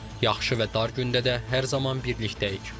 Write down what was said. Yaxşı və dar gündə də hər zaman birlikdəyik.